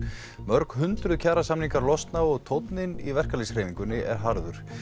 mörg hundruð kjarasamningar losna og tónninn í verkalýðshreyfingunni er harður